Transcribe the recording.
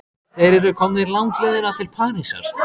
Þeir eru komnir langleiðina til Parísar.